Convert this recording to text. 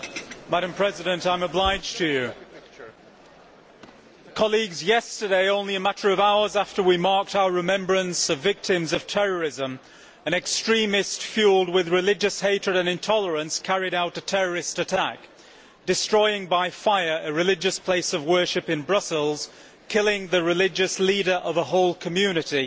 Madam President, yesterday, only a matter of hours after we marked our remembrance of victims of terrorism, an extremist fuelled with religious hatred and intolerance carried out a terrorist attack, destroying by fire a religious place of worship in Brussels, killing the religious leader of a whole community.